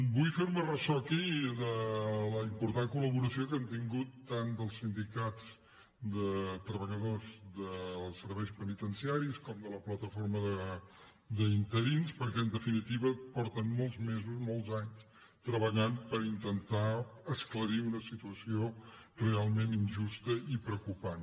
vull fer me ressò aquí de la important col·laboració que hem tingut tant dels sindicats de treballadors dels serveis penitenciaris com de la plataforma d’interins perquè en definitiva fa molts mesos molts anys que treballen per intentar esclarir una situació realment injusta i preocupant